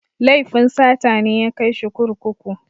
Laifin sata ne ya kai shi kurkuku.